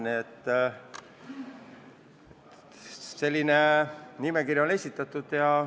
Nii et selline nimekiri on esitatud.